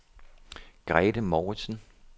Grethe Mouritzen